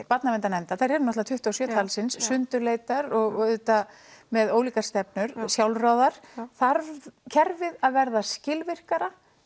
barnaverndarnefnda þær eru náttúrulega tuttugu og sjö talsins sundurleitar og auðvitað með ólíkar stefnur sjálfráðar þarf kerfið að verða skilvirkara